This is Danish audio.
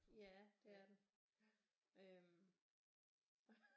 Ja det er den